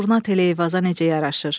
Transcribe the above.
Durna tel Eyvaza necə yaraşır?